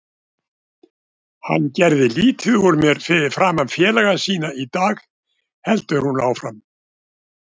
Hann gerði lítið úr mér fyrir framan félaga sína í dag, heldur hún áfram.